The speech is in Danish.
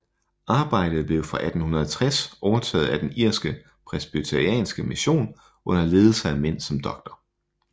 Arbejdet blev fra 1860 overtaget af den irske presbyterianske mission under ledelse af mænd som Dr